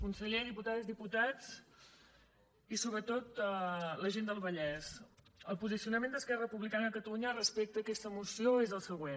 conseller diputades diputats i sobretot la gent del vallès el posicionament d’es·querra republicana de catalunya respecte a aquesta moció és el següent